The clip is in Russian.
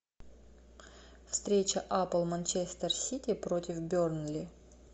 встреча апл манчестер сити против бернли